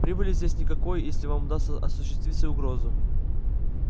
прибыли здесь никакой если вам удастся осуществить свою угрозу